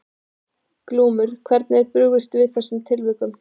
Glúmur: Hvernig er brugðist við í þessum tilvikum?